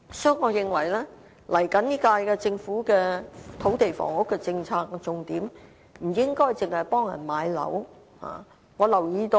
所以，我認為下屆政府在土地房屋政策上，不應該只是聚焦於協助市民買樓。